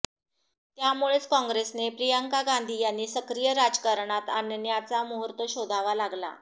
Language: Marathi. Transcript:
त्यामुळेच काँग्रेसने प्रियंका गांधी यांनी सक्रिय राजकारणात आणण्याचा मुहूर्त शोधावा लागला